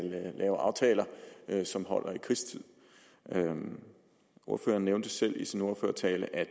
lave aftaler som holder i krigstid ordføreren nævnte selv i sin ordførertale at